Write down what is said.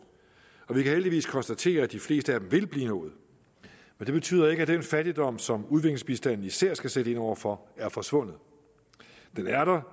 og vi kan heldigvis konstatere at de fleste af dem vil blive nået men det betyder ikke at den fattigdom som udviklingsbistanden især skal sætte ind over for er forsvundet den er der